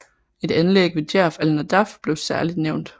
Et anlæg ved Djerf al Nadaf blev særlig nævnt